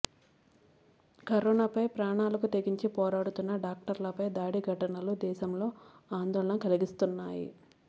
కరోనాపై ప్రాణాలకు తెగించి పోరాడుతున్న డాక్టర్లపై దాడి ఘటనలు దేశంలో ఆందోళన కలిగిస్తున్నాయి